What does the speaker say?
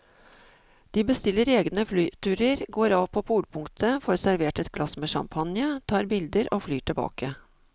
De bestiller egne flyturer, går av på polpunktet, får servert et glass med champagne, tar bilder og flyr tilbake.